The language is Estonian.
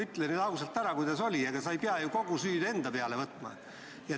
Ütle nüüd ausalt ära, kuidas oli, ega sa ei pea ju kogu süüd enda peale võtma.